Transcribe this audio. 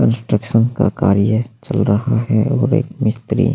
construction का कार्य चल रहा है और एक मिस्त्री --